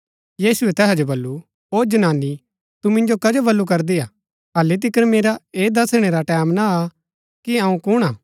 यीशुऐ तैहा जो बल्लू ओ जनानी तू मिन्जो कजो बल्लू करदी हा हल्ली तिकर मेरा ऐह दसणै रा टैमं ना आ कि अऊँ कुण हा